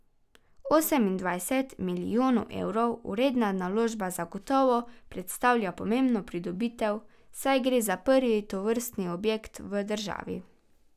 Osemindvajset milijonov evrov vredna naložba zagotovo predstavlja pomembno pridobitev, saj gre za prvi tovrstni objekt v državi.